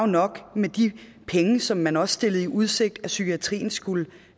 nok med de penge som man også stillede i udsigt at psykiatrien skulle